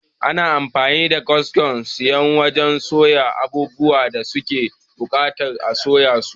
Ana amfani da kaskon suya wajan soya abubuwan da suke buƙatar a soya su